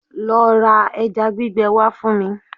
Lo ra ẹja gbígbẹ wá fún mi!